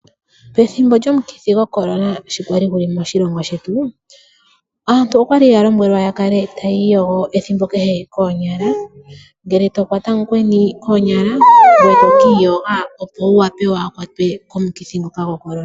Pethimbo lyomukithi goCorona sho gwali guli moshilongo shetu aantu okwali ya lombwelwa ya kale hayi iyogo ethimbo kehe koonyala ngele to kwata omukweni koonyala ngoye to kiiyoga opo wu wape waakwatwe komukithi ngoka goCorona.